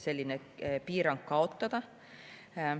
Sellise piirangu võiks kaotada.